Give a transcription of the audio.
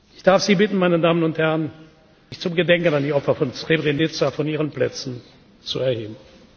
begreifen. Ich darf Sie bitten, meine Damen und Herren, sich zum Gedenken an die Opfer von Srebrenica von Ihren Plätzen zu erheben.